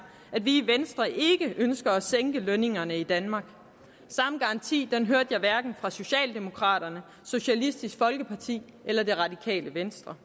at vi i venstre ikke ønsker at sænke lønningerne i danmark samme garanti hørte jeg hverken fra socialdemokraterne socialistisk folkeparti eller det radikale venstre